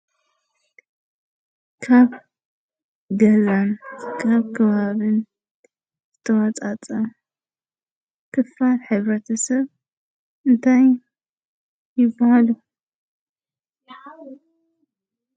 ካብ ገዛን ካብ ከባቢን ዝተወፃፀአ ክፋል ሕብረተሰብ እንታይ ይብሃሉ?